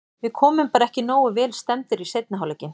Við komum bara ekki nógu vel stemmdir í seinni hálfleikinn.